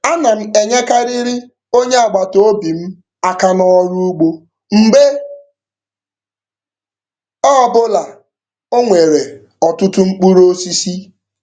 Ana m enyekarịrị onye agbataobi m aka n'ọrụ ụgbọ mgbe ọbụla o nwere ọtụtụ mkpụrụ osisi.